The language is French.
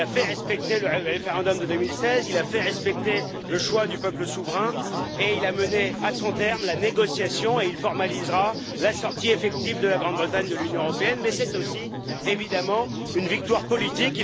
Il a fait respecter le référendum de 2016, il a fait respecter le choix du peuple souverain, il a mené à son terme la négociation et il formalisera la sortie effective de la Grande Bretagne de l'Union européenne. Mais c'est aussi, évidemment, une victoire politique.